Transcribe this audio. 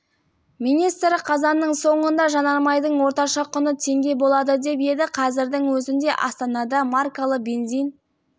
министрі қазанның соңында жанармайдың орташа құны теңге болады деп еді қазірдің өзінде астанада маркалы бензин